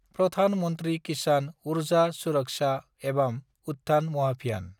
Pradhan Mantri Kisan Urja Suraksha evam Utthan Mahabhiyan